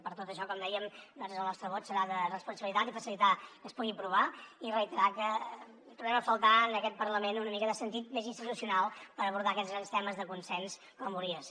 per tot això com dèiem el nostre vot serà de responsabilitat i facilitar que es pugui aprovar i reiterar que trobem a faltar en aquest parlament una mica de sentit més institucional per abordar aquests grans temes de consens com hauria de ser